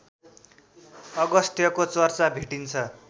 अगस्त्यको चर्चा भेटिन्छ